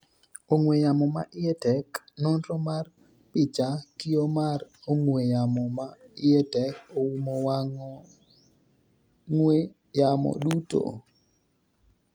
ong'we yamo ma iye tek, nonro mar picha, kio mar ong'we yamo ma iye tek oumo wang' ong'we yamo duto